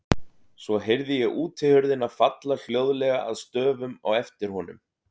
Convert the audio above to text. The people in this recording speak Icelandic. Svo heyrði ég útihurðina falla hljóðlega að stöfum á eftir honum.